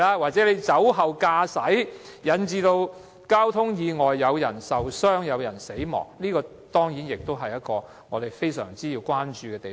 或者，他酒後駕駛引致交通意外，造成人命傷亡，這當然是我們需要高度關注的問題。